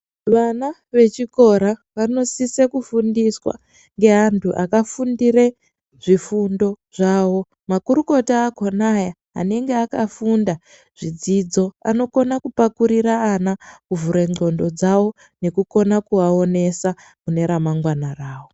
Vana vechikora vanosisa kufundiswa neantu akafundira zvifundo zvawo makurukota akona aya anenge akafunda zvidzidzo anokona kupakurira ana kuvhura ngonxo dzawo veionesa remangwna rawo.